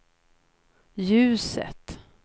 ljuset